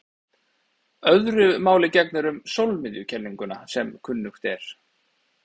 Öðru máli gegnir um sólmiðjukenninguna sem kunnugt er.